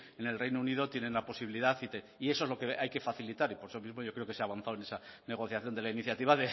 en el reino unido tienen la posibilidad y eso es lo que hay que facilitar y por eso mismo yo creo que se ha avanzado en la negociación de la iniciativa